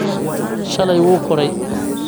Shalay wuu koray